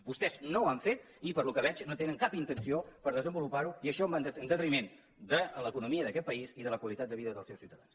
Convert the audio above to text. vostès no ho han fet i pel que veig no tenen cap intenció per desenvolupar ho i això va en detriment de l’economia d’aquest país i de la qualitat de vida dels seus ciutadans